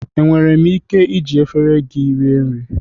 Enwere m ike iji efere gị rie nri